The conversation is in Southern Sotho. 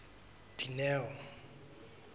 dineo